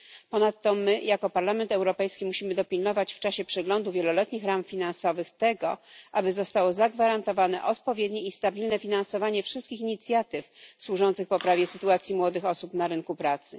Ponadto my, jako Parlament Europejski, musimy dopilnować w czasie przeglądu wieloletnich ram finansowych tego, aby zostało zagwarantowane odpowiednie i stabilne finansowanie wszystkich inicjatyw służących poprawie sytuacji młodych osób na rynku pracy.